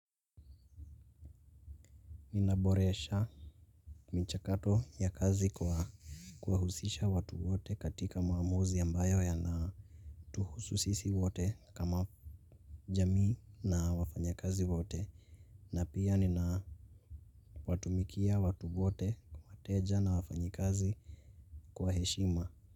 Ninaboresha mchakato ya kazi kwa kuwahusisha watu wote katika maamuzi ambayo yana. Tuhusu sisi wote kama jamii na wafanya kazi wote. Na pia nina watumikia watu wote, wateja na wafanyikazi kwa heshima.